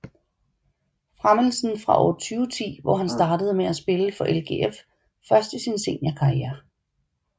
Fremelsen fra år 2010 hvor han startede med at spille for LGF først i sin seniorkarriere